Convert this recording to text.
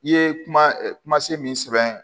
I ye kuma se min sɔrɔ